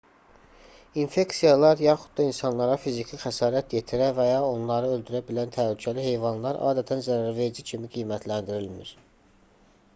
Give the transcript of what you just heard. i̇nfeksiyalar yaxud da insanlara fiziki xəsarət yetirə və ya onları öldürə bilən təhlükəli heyvanlar adətən zərərverici kimi qiymətləndirilmir